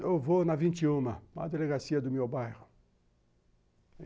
Eu vou na vinte e um, na delegacia do meu bairro.